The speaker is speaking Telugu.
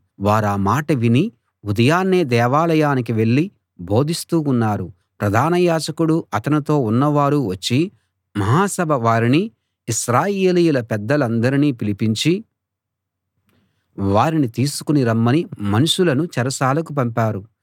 వారా మాట విని ఉదయాన్నే దేవాలయానికి వెళ్ళి బోధిస్తూ ఉన్నారు ప్రధాన యాజకుడూ అతనితో ఉన్నవారూ వచ్చి మహాసభ వారిని ఇశ్రాయేలీయుల పెద్దలందరినీ పిలిపించి వారిని తీసుకు రమ్మని మనుషులను చెరసాలకు పంపారు